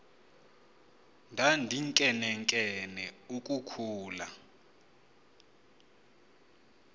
ndandinkenenkene uku khula